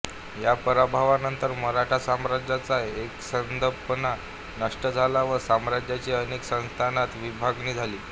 या पराभवानंतर मराठा साम्राज्याचा एकसंधपणा नष्ट झाला व साम्राज्याची अनेक संस्थानांत विभागणी झाली